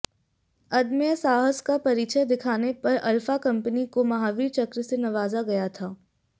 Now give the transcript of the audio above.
अदम्य साहस का परिचय दिखाने पर अल्फा कंपनी को महावीर चक्र से नवाजा गया था